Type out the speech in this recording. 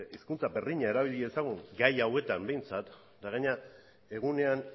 hizkuntza berdina erabili dezagun gai hauetan behintzat eta gainera egunean